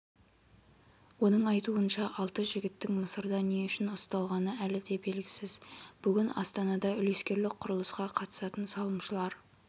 оның айтуынша алты жігіттің мысырда не үшін ұсталғаны әлі де белгісіз бүгін астанадаүлескерлік құрылысқа қатысатын салымшылар